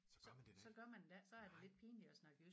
Så gør man det da ikke nej